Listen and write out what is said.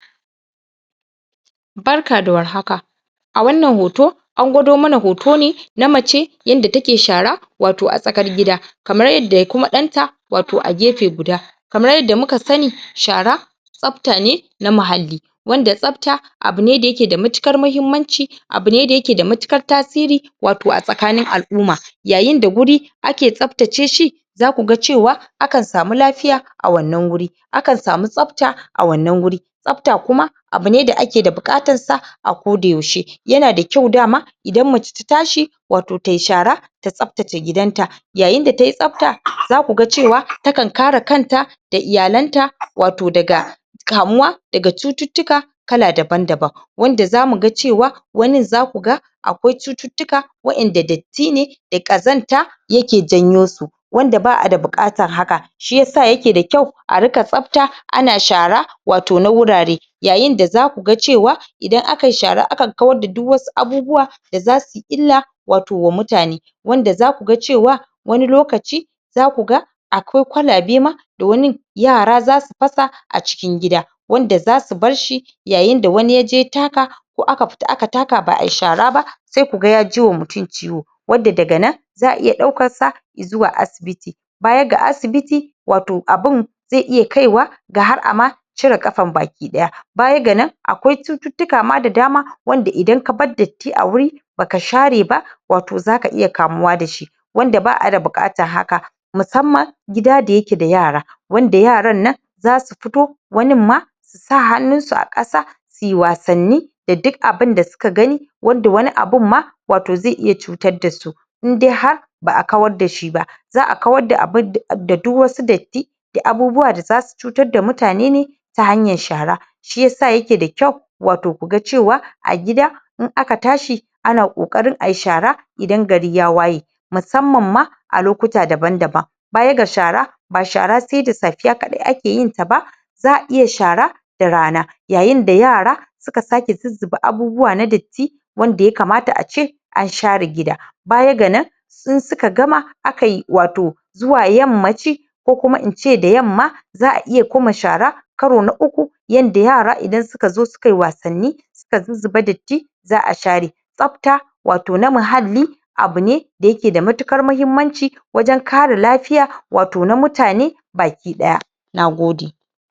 Barka da war haka a wannan hoto an gwado mana hoto ne na mace yanda take shara wato a tsakar gida kamar yadda kuma ɗanta wato a gefe guda kamar yadda muka sani shara tsafta ne na mahalli wanda tsafta abu ne da ayke da matuƙar mahimmanci abu ne da yake da matuƙar tasiri wato a tsakanin al'uma yayin da guri ake tsaftace shi za ku ga cewa akan samu lafiya a wannan guri akan samu tsafta a wannan guri tsafta kuma abu ne da ake da buƙatar sa a ko da yaushe yana da kyau dama idan mace ta tashi wato tai shara ta tsaftace gidanta yayin da ta yi tsafta za ku ga cewa ta kan kare kanta da iyalanta wato daga kamuwa daga cututtuka kala daban-daban wanda za mu ga cewa wanin za ku ga akwai cututtuka waƴanda datti ne da ƙazanta yake janyo su wanda ba a da buƙatan haka shi yasa yake da kyau a rika tsafta ana shara wato na wurare yayin da za ku ga cewa idan akai shara akan kawar da duk wasu abubuwa da za su yi illa wato wa mutane wanda za ku ga cewa wani lokaci za ku ga akwai kwalabe ma da wanin yara za su fasa a cikin gida wanda za su bar shi yayin da wani ya je ya taka ko aka fita aka taka ba a yi shara ba sai ku ga ya ji wa mutum ciwo wadda daga nan za a iya ɗaukar sa izuwa asibiti baya ga asibiti wato abin zai iya kai wa ga har a ma cire ƙafan baki-ɗaya baya ga nan akwai cututtuka ma da dama wanda idan ka bar datti a wuri ba ka share ba wato za ka iya kamuwa da shi wanda ba a da buƙatan haka musamman gida da yake da yara wanda yaran nan za su fito wanin ma su sa hannunsu a ƙasa su yi wasanni da duk abin da suka gani wanda wani abun ma wato zai iya cutar da su inde har ba a kawar da shi ba za a kawar da abun da duk wasu datti da abubuwa da za su cutar da mutane ne ta hanyar shara shi yasa yake da kyau wato ku ga cewa a gida in aka tashi ana ƙoarin a yi shara idan gari ya waye musamman ma a lokuta daban-daban baya ga shara ba shara sai da safiya kaɗai ake yin ta ba za a iya shara da rana yayin da yara su ka sake zuzzuba abubuwa na datti wanda ya kamata ace an share gida baya ga nan in suka gama aka yi wato zuwa yammaci ko kuma in ce da yamma za a iya kuma shara karo na uku yanda yara idan suka zon suka yi wasanni suka zuzzuba datti za a shara tsafta wato na mahalli abu ne da yake da matukar mahimmanci wajen kare lafiya wato na mutane baki-ɗaya na gode